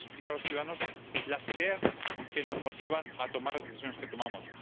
Tenemos que explicar a los ciudadanos las ideas que nos motivan a tomar las decisiones que tomamos.